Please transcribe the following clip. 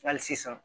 Hali sisan